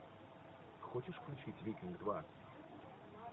хочешь включить викинг два